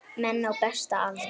Menn á besta aldri.